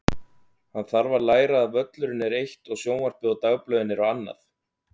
Hann þarf að læra að völlurinn er eitt og sjónvarpið og dagblöðin eru annað.